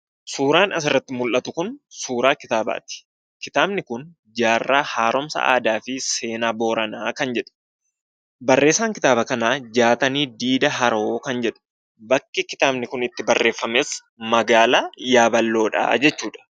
Suuraan asirratti mul'atu kun suuraa kitaabaati. Kitaabni kun "Jaarraa Haaromsa Aadaa fi Seenaa Booranaa" kan jedhu. Barreessaan kitaaba kanaa "Jaatanii Diida Haroo" kan jedhu. Bakki kitaabni kun itti barreeffames magaalaa Yaaballoodha jechuudha